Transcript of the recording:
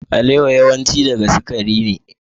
Alewa yawanci daga sukari ne.